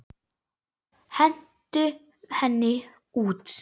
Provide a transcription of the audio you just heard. Hentu henni út!